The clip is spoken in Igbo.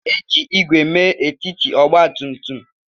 E ji ígwè mee etiti ọgba tum tum.